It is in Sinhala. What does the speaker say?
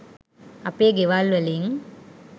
අපේ ගෙවල් වලින්